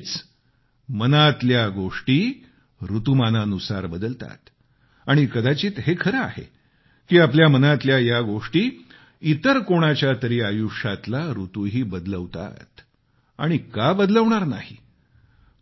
म्हणजेच मनातल्या गोष्टी ऋतुमानानुसार बदलतात आणि कदाचित हे ही खरं आहे की आपल्या मनातल्या या गोष्टी इतर कोणाच्यातरी आयुष्यातला ऋतूही बदलवतात आणि का बदलवणार नाही